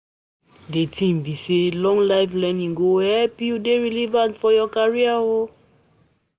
Di tin be sey lifelong learning go help you dey relevant for your career o.